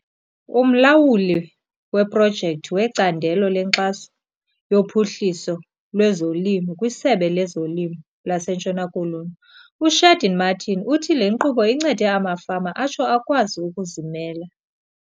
Umlawuli weeprojekthi wecandelo lenkxaso yophuhliso lwezolimo kwiSebe lezoLimo laseNtshona Koloni, uShaheed Martin, uthi le nkqubo incede amafama atsho akwazi ukuzimela.